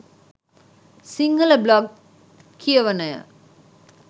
Sinhala blog කියවනය